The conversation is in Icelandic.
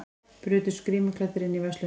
Brutust grímuklæddir inn í verslun